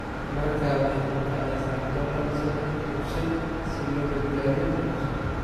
Markaa waxay ku kacaysaa dollar sodon iyo shaan si loo badbaadiyo nolosha.